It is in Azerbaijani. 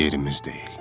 yerimiz deyil.